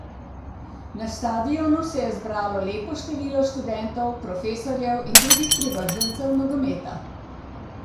Na stadionu se je zbralo lepo število študentov, profesorjev in drugih privržencev nogometa.